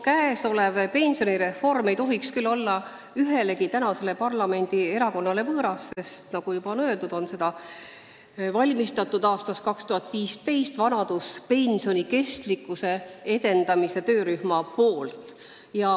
Käesolev pensionireform ei tohiks küll olla ühelegi praegusele parlamendierakonnale võõras, sest nagu öeldud, on seda aastast 2015 ette valmistanud vanaduspensioni kestlikkuse edendamise töörühm.